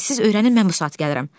Siz öyrənin mən bu saat gəlirəm.